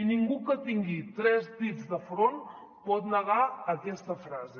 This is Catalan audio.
i ningú que tingui tres dits de front pot negar aquesta frase